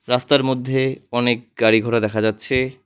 রাস্তার মধ্যে অনেক গাড়িঘোড়া দেখা যাচ্ছে।